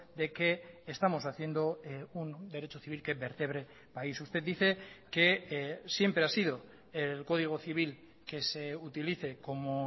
de que estamos haciendo un derecho civil que vertebre país usted dice que siempre ha sido el código civil que se utilice como